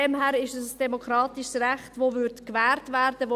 Daher ist es ein demokratisches Recht, das gewährt werden würde.